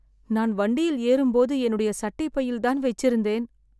நான் வண்டியில் ஏறும் போது, என்னுடைய சட்டை பையில் தான் வச்சிருந்தேன்